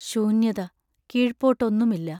ശൂന്യത കീഴ്പോട്ട് ഒന്നുമില്ല.